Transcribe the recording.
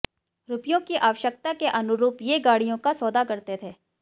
रुपयों की आवश्यकता के अनुरूप ये गाड़ियों का सौदा करते थे